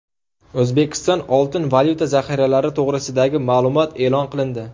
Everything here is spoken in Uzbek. O‘zbekiston oltin-valyuta zaxiralari to‘g‘risidagi ma’lumot e’lon qilindi.